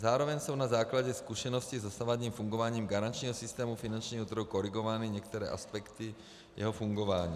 Zároveň jsou na základě zkušenosti s dosavadním fungováním garančního systému finančního trhu korigovány některé aspekty jeho fungování.